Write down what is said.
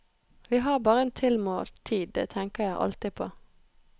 Vi har bare en tilmålt tid, det tenker jeg alltid på.